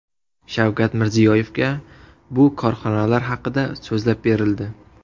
Shavkat Mirziyoyevga bu korxonalar haqida so‘zlab berildi.